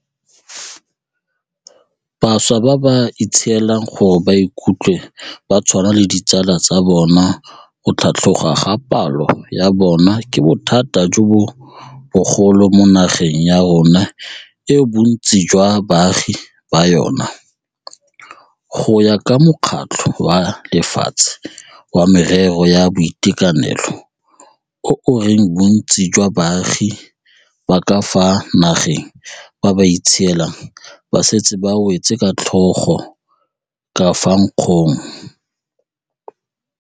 Bašwa ba ba itshielang gore ba ikutlwe ba tshwana le ditsala tsa bona go tlhatloga ga palo ya bona ke bothata jo bogolo mo nageng ya rona eo bontsi jwa baagi ba yona, go ya ka Mokgatlho wa Lefatshe wa Merero ya Boitekanelo, o o reng bontsi jwa baagi ba ka fa nageng ba ba itshielang ba setse ba wetse ka tlhogo ka fa nkgong.